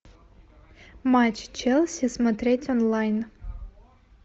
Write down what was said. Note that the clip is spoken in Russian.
матч челси смотреть онлайн